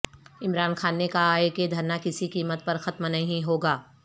عمران خان نے کہا ہے کہ دھرنہ کسی قیمت پر ختم نہیں ہو گا